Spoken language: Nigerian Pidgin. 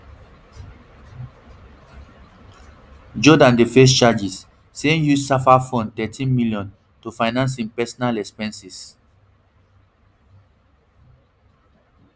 jordaan dey face charges say im use safa fund rthirteenmillion to finance im personal expenses